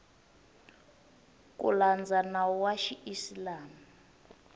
ku landza nawu wa xiisilamu